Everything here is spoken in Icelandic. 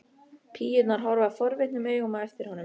Píurnar horfa forvitnum augum á eftir honum.